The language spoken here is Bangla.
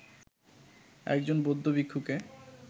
একজন বৌদ্ধ ভিক্ষুকে